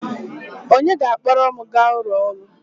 Onye ga-akpọrọ m gaa ụlọ ọrụ?